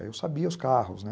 Aí eu sabia os carros, né?